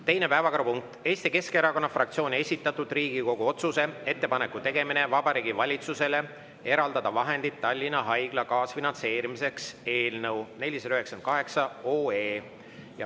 Teine päevakorrapunkt: Eesti Keskerakonna fraktsiooni esitatud Riigikogu otsuse "Ettepaneku tegemine Vabariigi Valitsusele eraldada vahendid Tallinna Haigla kaasfinantseerimiseks" eelnõu 498.